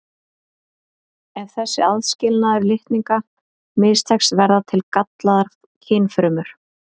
Ef þessi aðskilnaður litninga mistekst verða til gallaðar kynfrumur.